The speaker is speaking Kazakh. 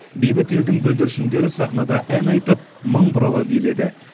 бейбіт елдің бүлдіршіндері сахнада ән айтып мың бұрала биледі